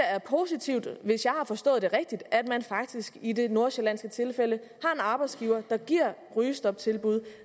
er positivt hvis jeg har forstået det rigtigt at man faktisk i det nordsjællandske tilfælde har en arbejdsgiver der giver rygestoptilbud